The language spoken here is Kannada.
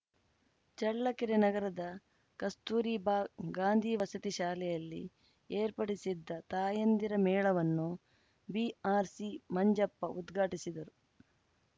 ಚಳ್ಳಕೆರೆ ನಗರದ ಕಸ್ತೂರಿ ಬಾ ಗಾಂಧಿ ವಸತಿ ಶಾಲೆಯಲ್ಲಿ ಏರ್ಪಡಿಸಿದ್ದ ತಾಯಂದಿರ ಮೇಳವನ್ನು ಬಿಆರ್‌ಸಿ ಮಂಜಪ್ಪ ಉದ್ಘಾಟಿಸಿದರು